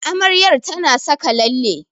Amaryar ta na saka lalle